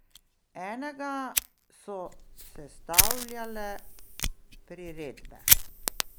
Enega so sestavljale priredbe.